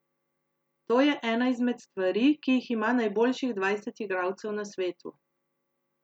To je ena izmed stvari, ki jih ima najboljših dvajset igralcev na svetu.